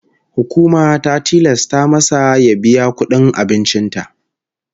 Hukuma ta tilasta mada ya biya ta kudin abincin ta.